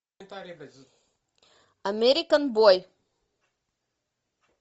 американ бой